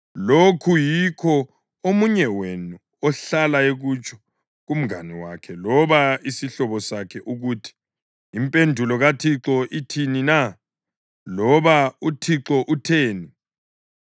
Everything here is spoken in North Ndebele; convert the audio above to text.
Lokhu yikho omunye wenu ohlala ekutsho kumngane wakhe loba isihlobo sakhe ukuthi: ‘Impendulo kaThixo ithini na?’ loba ‘ UThixo utheni?’